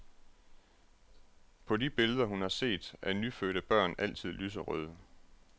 På de billeder, hun har set, er nyfødte børn altid lyserøde.